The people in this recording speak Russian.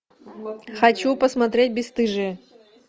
хочу посмотреть бесстыжие